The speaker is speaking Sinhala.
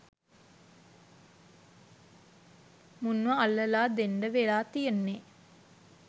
මුන්ව අල්ලලා දෙන්ඩ වෙලා තියෙන්නේ.